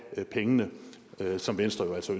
pengene som venstre jo altså